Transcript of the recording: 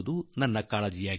ಇದೇ ನಿಮ್ಮಲ್ಲಿ ನನ್ನ ಪ್ರಾರ್ಥನೆ